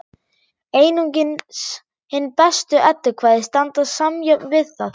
Einungis hin bestu eddukvæði standast samjöfnuð við það.